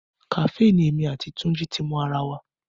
Kàfé ni èmi àti Túnjí ti mo ara wa